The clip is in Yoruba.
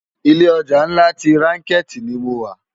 Ilé òjá nlá ti ránkéti ni mó wá